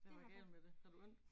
Hvad var galt med det havde du ondt